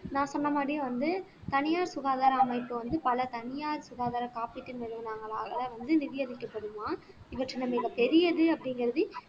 நான் சொன்ன மாதிரியே வந்து தனியார் சுகாதார அமைப்பு வந்து பல தனியார் சுகாதாரம் காப்பீட்டு நிறுவனங்களால வந்து நிதியமைக்கப்படுமாம் இவற்றை நம்ம பெரியது அப்படிங்கிறது